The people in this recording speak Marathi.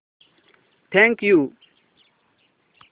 thank you